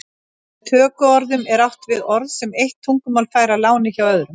Með tökuorðum er átt við orð sem eitt tungumál fær að láni hjá öðru.